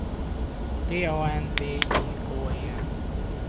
D A N V I K E N